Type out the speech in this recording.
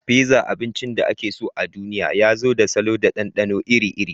Pizza, abincin da ake so a duniya, ya zo da salo da ɗanɗano iri-iri.